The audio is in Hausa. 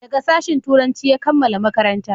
daga sashin turanci ya kammala makaranta